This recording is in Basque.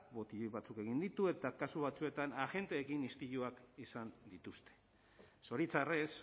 botilloi batzuk egin ditu eta kasu batzuetan agenteekin istiluak izan dituzte zoritxarrez